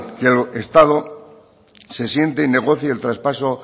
que el estado se siente y negocie el traspaso